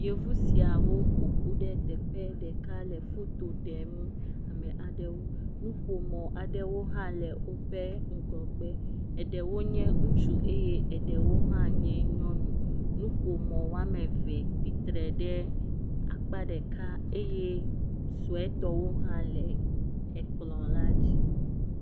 Yevu siawo ƒoƒu ɖe teƒe ɖeka le foto ɖem ame aɖewo, nuƒomɔ aɖewo hã le woƒe ŋgɔgbe, eɖewo nye ŋutsu eye eɖewo hã nye nyɔnu, nuƒomɔ woame eve tsitre ɖe akpa ɖeka eye suetɔwo hã la ekplɔ la dzi.